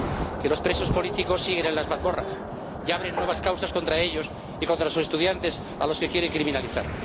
que los presos políticos siguen en las mazmorras y se abren nuevas causas contra ellos y contra los estudiantes, a los que se quiere criminalizar